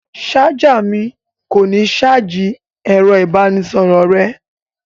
Ṣáj mi kò ní ṣáájì ẹ̀rọ-ìbánisọ̀rọ̀ rẹ.